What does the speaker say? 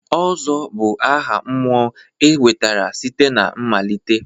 Ozo bụ aha mmụọ e nwetara site na mmalite.